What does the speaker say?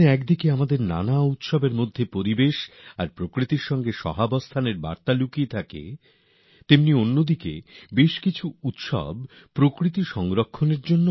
একদিকে যেমন আমাদের উৎসবের আয়োজন পরিবেশ ও প্রকৃতির সঙ্গে সহবাসের বার্তা রয়েছে অন্যদিকে আমাদের অনেক উৎসবের পর্ব আয়োজিতই হয় প্রকৃতির সুরক্ষার জন্য